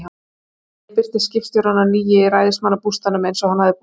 Seinna um daginn birtist skipstjórinn á ný í ræðismannsbústaðnum, eins og hann hafði boðað.